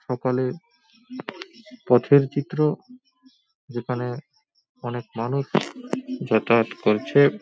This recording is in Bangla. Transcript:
সকালে পথের চিত্র যেখানে অনেক মানুষ যাতায়াত করছে।